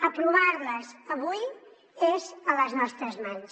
aprovar les avui és a les nostres mans